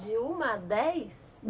De um a dez?